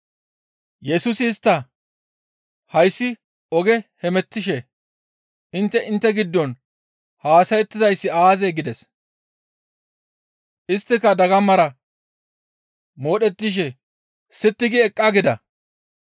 Yesusi istta, «Hayssi oge hemettishe intte intte giddon haasayettizayssi aazee?» gides. Isttika dagamara modhettishe sitti gi eqqaa gida.